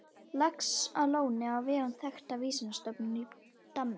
Laxalóni á vegum þekktrar vísindastofnunar í Danmörku.